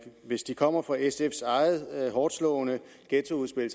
hvis de kommer fra sfs eget hårdtslående ghettoudspil